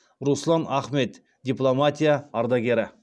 руслан ахмет дипломатия ардагері